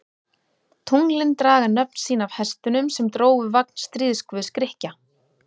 Tunglin draga nöfn sín af hestunum sem drógu vagn stríðsguðs Grikkja.